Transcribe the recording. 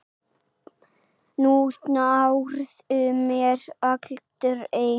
Þú nærð mér aldrei!